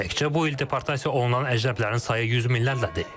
Təkcə bu il deportasiya olunan əcnəbilərin sayı yüz minlərlədir.